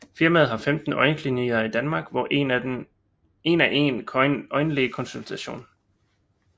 Firmaet har 15 øjenklinikker i Danmark hvor af en er en øjenlægekonsultation